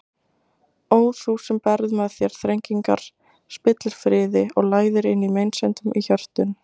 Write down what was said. Ó þú sem berð með þér þrengingar, spillir friði og læðir inn meinsemdum í hjörtun!